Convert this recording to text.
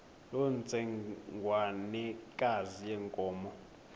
loo ntsengwanekazi yenkomo